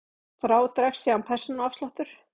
Frá dregst síðan persónuafsláttur.